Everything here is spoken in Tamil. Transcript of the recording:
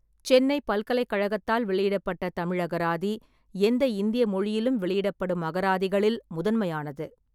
சென்னைப் பல்கலைக் கழகத்தால் வெளியிடப்பட்ட தமிழ் அகராதி, எந்த இந்திய மொழியிலும் வெளியிடப்படும் அகராதிகளில் முதன்மையானது.